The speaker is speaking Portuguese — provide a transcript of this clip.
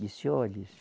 Disse, olhe